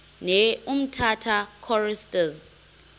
ne umtata choristers